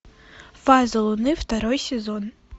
фазы луны второй сезон